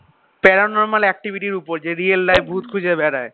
para normal activity এর ওপর যে real life ভুত খুঁজে বেড়ায়